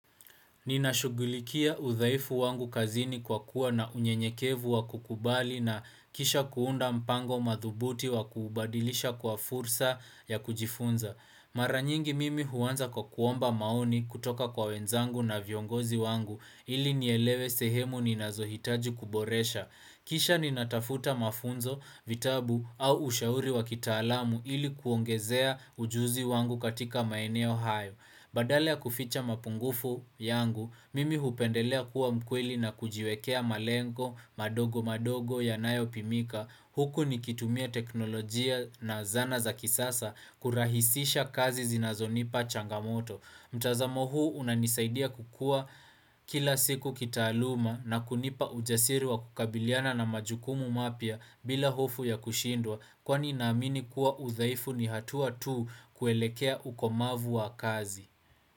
Ninashughulikia udhaifu wangu kazini kwa kuwa na unyenyekevu wa kukubali na kisha kuunda mpango madhubuti wa kubadilisha kwa fursa ya kujifunza. Mara nyingi mimi huanza kwa kuomba maoni kutoka kwa wenzangu na viongozi wangu ili nielewe sehemu ninazohitaji kuboresha. Kisha ninatafuta mafunzo, vitabu au ushauri wa kitaalamu ili kuongezea ujuzi wangu katika maeneo hayo. Badala ya kuficha mapungufu yangu, mimi hupendelea kuwa mkweli na kujiwekea malengo, madogo madogo ya nayo pimika. Huku nikitumia teknolojia na zana za kisasa kurahisisha kazi zinazonipa changamoto. Mtazamo huu unanisaidia kukua kila siku kitaaluma na kunipa ujasiri wa kukabiliana na majukumu mapya bila hofu ya kushindwa kwani naamini kuwa udhaifu ni hatuwa tu kuelekea ukomavu wa kazi.